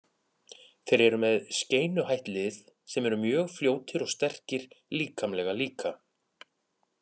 Þeir eru með skeinuhætt lið sem eru mjög fljótir og sterkir líkamlega líka.